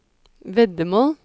veddemål